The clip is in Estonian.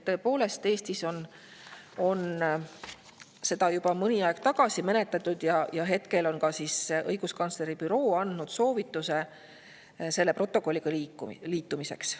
Tõepoolest, Eestis arutati seda juba mõni aeg tagasi ja hetkel on ka õiguskantsleri büroo andnud soovituse selle protokolliga liituda.